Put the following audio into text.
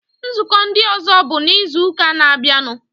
Nzukọ ndị ọzọ bụ n'izuụka na-abịanụ.